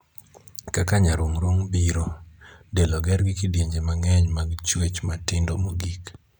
Kaka nyarung'rung' biro. Del oger gi kidienje mang'eny mag chuech matindo mogik.